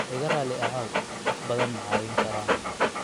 Iga raali ahow, wax badan ma caawin karaa?